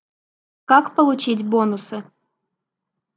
как получить бонусы